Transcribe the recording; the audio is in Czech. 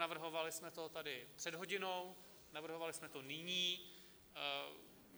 Navrhovali jsme to tady před hodinou, navrhovali jsme to nyní.